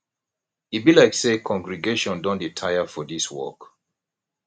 e be like say congregation don dey tire for this work